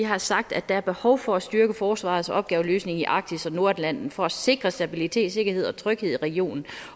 have sagt at der er behov for at styrke forsvarets opgaveløsning i arktis og nordatlanten for at sikre stabilitet sikkerhed og tryghed i regionen